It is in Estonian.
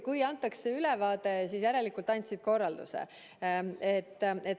Kui antakse ülevaade, siis järelikult ma andsin korralduse.